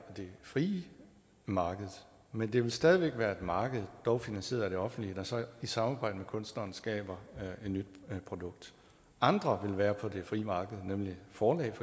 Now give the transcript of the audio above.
det frie marked men det vil stadig væk være et marked dog finansieret af det offentlige der så i samarbejde med kunstneren skaber et nyt produkt andre vil være på det frie marked for